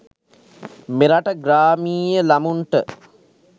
මෙරට ග්‍රාමීය ළමුන්ට